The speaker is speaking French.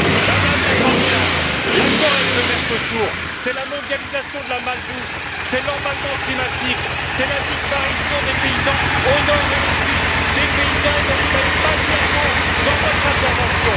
Madame la candidate, l'accord avec le Mercosur, c'est la mondialisation de la malbouffe, c'est l'emballement climatique, c'est la disparition des paysans au nord et au sud, des paysans dont vous n'avez pas dit un mot dans votre intervention.